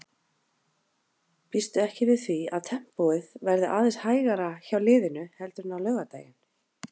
Býstu ekki við því að tempóið verði aðeins hægara hjá liðinu heldur en á laugardaginn?